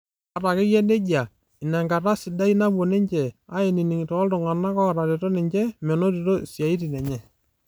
Ata ake eyia nejia, ina enkata e siadi naapuo ninje aaningie toltungani otareto ninje menoto isiatin enye.